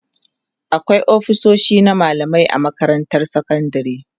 akwai ofisoshi na mallamai a makarantar sekandari